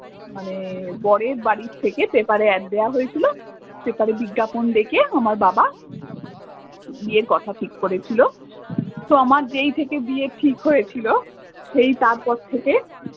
মানে বরের বাড়ি থেকে পেপারে অ্যাড দেওয়া হয়েছিল পেপারে বিজ্ঞাপন দেখে আমার বাবা বিয়ের কথা ঠিক করেছিল তো আমার যেই থেকে বিয়ে ঠিক হয়েছিল সেই তারপর থেকে।